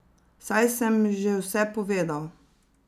Saj sem že vse povedal.